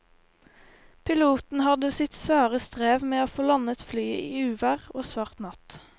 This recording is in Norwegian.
Piloten hadde sitt svare strev med å få landet flyet i uvær og svart natt.